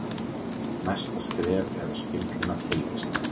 næsta skref er að skilgreina tilvist